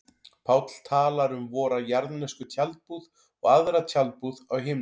Páll talar um vora jarðnesku tjaldbúð og aðra tjaldbúð á himnum.